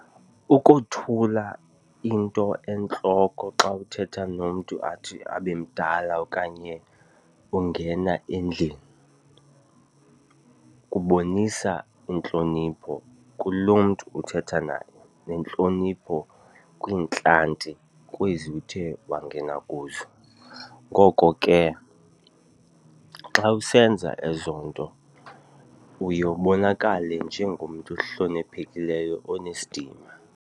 Ukothula into entloko xa uthetha nomntu athi abe mdala okanye ungena endlini kubonisa intlonipho kulo mntu uthetha naye nentlonipho kwiintlanti kwezi uthe wangena kuzo. Ngoko ke xa usenza ezo nto uye ubonakale njengomntu ohloniphekileyo onesidima.